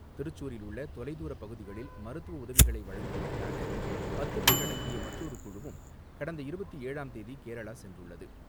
திருச்சூரில் உள்ள தொலைதூர பகுதிகளில் மருத்துவ உதவிகளை வழங்குவதற்காக பத்து பேர் அடங்கிய மற்றொரு குழுவும் கடந்த இருபத்து ஏழாம் தேதி கேரளா சென்றுள்ளது.